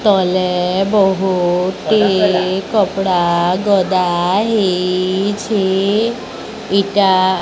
ତଳେ ବହୁତଟି କପଡା ଗଦା ହେଇଛି ଇଟା --